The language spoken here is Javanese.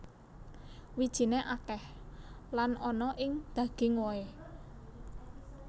Wijiné akèh lan ana ing daging wohé